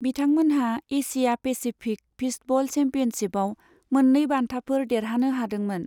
बिथांमोनहा Asia Pacific fistball चेम्पियनशिपआव मोननै बान्थाफोर देरहानो हादोंमोन।